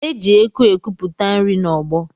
E ji eku ekuputa nri n'ọgbọ